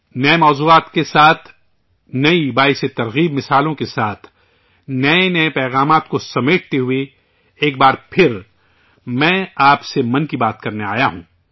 نئے موضوعات کے ساتھ، نئی حوصلہ افزا مثالوں کے ساتھ، نئے نئے پیغامات کو سمیٹے ہوئے، ایک بار پھر میں آپ سے 'من کی بات' کرنے آیا ہوں